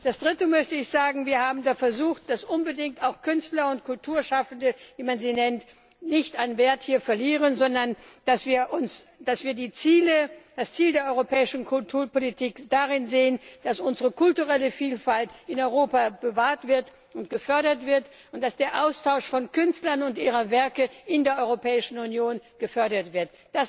Als Drittes möchte ich sagen Wir haben versucht, unbedingt dafür zu sorgen, dass Künstler und Kulturschaffende, wie man sie nennt, hier nicht an Wert verlieren, sondern dass wir das Ziel der europäischen Kulturpolitik darin sehen, dass unsere kulturelle Vielfalt in Europa bewahrt und gefördert wird, und dass der Austausch von Künstlern und ihrer Werke in der Europäischen Union gefördert wird.